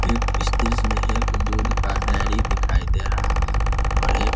एक इस दृश्य मे एक दूध का डेरी दिखाई दे रहा है और एक --